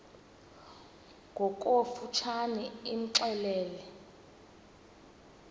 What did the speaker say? ngokofu tshane imxelele